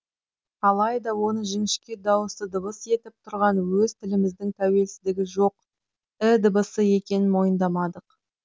алайда оны жіңішке дауысты дыбыс етіп тұрған өз тіліміздің тәуелсіздігі жоқ і дыбысы екенін мойындамадық